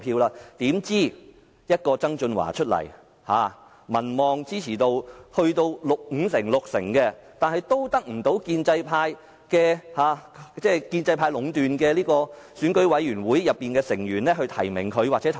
怎知道曾俊華參選，民望支持度多達五六成，但都得不到由建制派壟斷的選舉委員會的成員提名或投票。